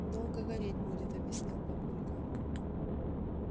долго гореть будет объяснил папулька